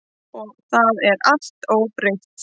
Og það er allt óbreytt.